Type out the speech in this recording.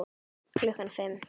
Klukkan fimm.